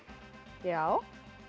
já